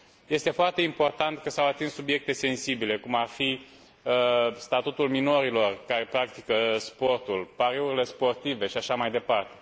Este foarte important că s au atins subiecte sensibile, cum ar fi statutul minorilor care practică sportul, pariurile sportive și așa mai departe.